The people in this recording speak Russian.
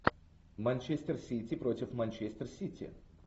манчестер сити против манчестер сити